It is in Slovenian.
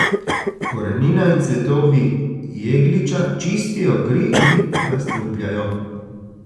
Korenina in cvetovi jegliča čistijo kri in razstrupljajo.